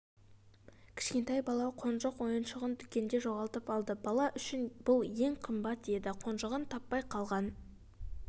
кішкентай бала қонжық ойыншығын дүкенде жоғалтып алды бала үшін бұл ең қымбат еді қонжығын таппай қалған